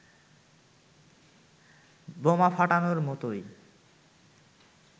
বোমা ফাটানোর মতোই